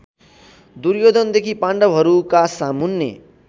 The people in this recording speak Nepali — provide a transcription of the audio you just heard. दुर्योधनदेखि पाण्डवहरूका सामुन्ने